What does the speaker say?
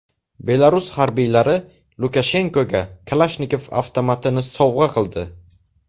Belarus harbiylari Lukashenkoga Kalashnikov avtomatini sovg‘a qildi.